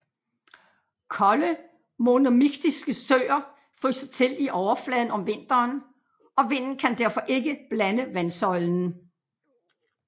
Kolde monomiktiske søer fryser til i overfladen om vinteren og vinden kan derfor ikke blande vandsøjlen